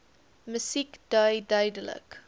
musiek dui duidelik